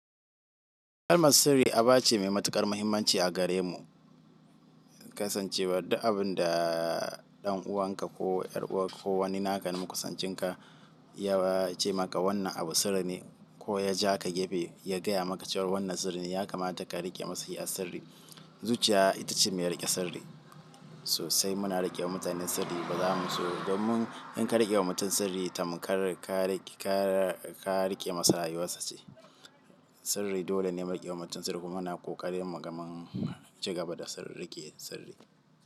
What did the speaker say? Kalmar sirri aba ce mai matuƙar mahimmanci a gare mu. Kasancewar duk abin da ɗan'uwanka ko 'yar'uwa ko wani naka ba makusancin ka ya ce maka wannan abu sirri ne ko ya ja ka gefe ya gaya maka cewa wannan sirri ne, ya kamata ka riƙe masa iya sirri. Zuciya ita ce mai rike sirri. Sosai muna rike mutane sabida za mu zo, in ka riƙe wa mutum sirri tamkar ka riƙe ka riƙe masa rayuwarsa ce sirri. Dole ne mu riƙe wa mutum sirri kuma muna ƙoƙarin muga mun ci gaba da riƙe sirri.